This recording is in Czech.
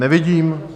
Nevidím.